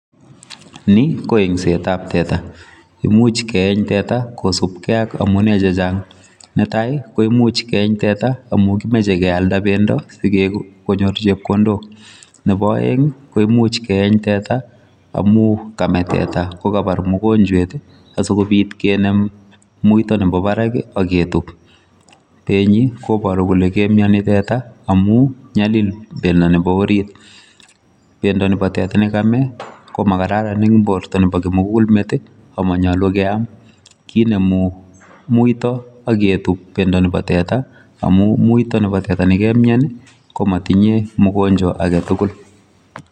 Ni ko eensetab teta imuch keeng teta kosubgei ak amune chechang. Netai ko imuch keeng teta amu kimoche kealda bendo si kenyor chepkondok. Nebo aeng kimuch keeng teta amu kame teta kokabar mugonjech asi kobit kinem muito nebo barak ak ketub. Benyi koboru kole kemioni teta amu nyalil bendo nebo orit. Bendo nebo teta ko makararan eng borto nebo kimugulmet ama nyoulu keam kenemu muito ak ketub bendo nebo teta amu muito nebo teta ne kemien komotinye mogonjwa age tugul.